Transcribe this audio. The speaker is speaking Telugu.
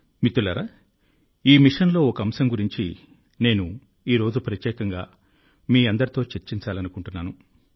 మిత్రులారా ఈ మిషన్లో ఒక అంశం గురించి నేను ఈరోజు ప్రత్యేకంగా మీ అందరితో చర్చించాలనుకుంటున్నాను